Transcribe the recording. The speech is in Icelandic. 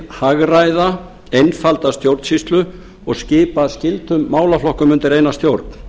hagræða einfalda stjórnsýslu og skipa skyldum málaflokkum undir eina stjórn